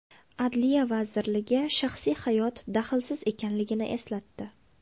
Adliya vazirligi shaxsiy hayot daxlsiz ekanligini eslatdi.